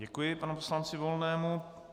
Děkuji panu poslanci Volnému.